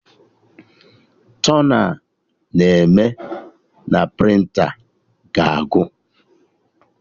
Tona a na-eme na prịnta ga-agwụ